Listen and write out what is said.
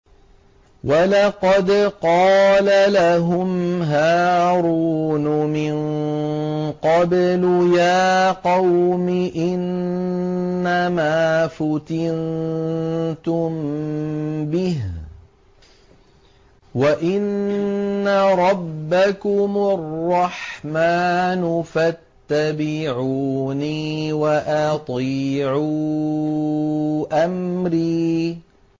وَلَقَدْ قَالَ لَهُمْ هَارُونُ مِن قَبْلُ يَا قَوْمِ إِنَّمَا فُتِنتُم بِهِ ۖ وَإِنَّ رَبَّكُمُ الرَّحْمَٰنُ فَاتَّبِعُونِي وَأَطِيعُوا أَمْرِي